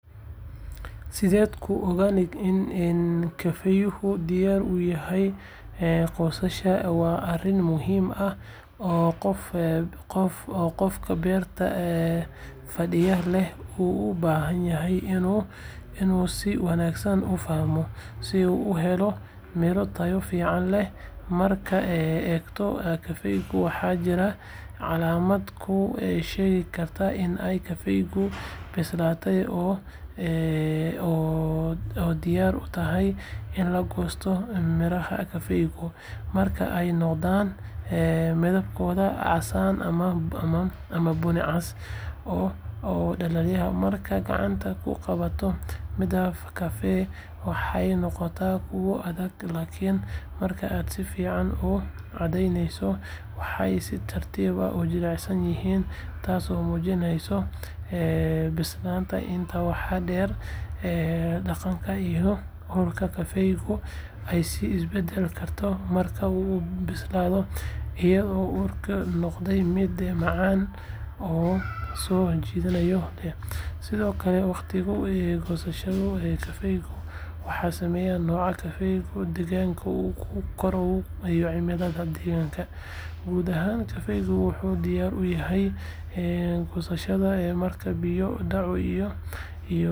Sideeku ogaado in kafeehu diyaar u yahay goosashada waa arrin muhiim ah oo qofka beerta kafeeha leh uu u baahan yahay inuu si wanaagsan u fahmo si uu u helo miro tayo fiican leh. Markaad eegto kafeehu, waxaa jira calaamado kuu sheegi kara in kafeehu bislaaday oo diyaar u yahay in la goosto midhaha kafeehu marka ay noqdaan midabkoodu casaan ama bunni cas oo dhalaalaya. Markaad gacanta ku qabato midhaha kafee, waxay noqdaan kuwo adag laakiin marka aad si fiican u cadaadiso waxay si tartiib ah u jilicsan yihiin taasoo muujineysa bislaashadooda Intaa waxaa dheer, dhadhanka iyo urta kafeeha ayaa is beddeli karta marka uu bislaado, iyadoo urkiisu noqdo mid macaan oo soo jiidasho leh. Sidoo kale, waqtiga goosashada kafeeha waxaa saameeya nooca kafeeha, deegaanka uu ku koray iyo cimilada deegaanka. Guud ahaan, kafeehu wuxuu diyaar u yahay goosashada marka biyo dhacu iyo cimiladu ay yihiin kuwo ku habboon, taasoo ka caawisa in mirooyinka kafeehu ay bislaadaan si siman. Haddaba, si aad u ogaato waqtiga saxda ah ee goosashada kafee, waa inaad si joogto ah ula socotaa xaaladda kafeeha, una fiirsataa isbeddelada muuqaalka iyo dhadhanka miraha, si aad u hesho kafee tayo sare leh oo macaan.